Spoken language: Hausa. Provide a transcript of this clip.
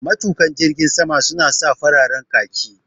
Matuƙan jirgin sama su na sa fararen khaki